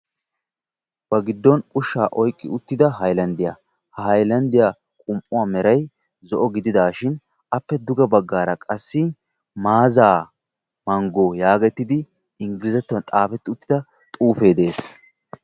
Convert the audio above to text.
ba giddon ushsha oyqqi uttida haylanddiya ha haylanddiya qum"uwa meray zo'o gidishin appe duge baggara qassi Maaza manggo yaagetidi Inggliazattuwan xaafetida xuufe de'ees.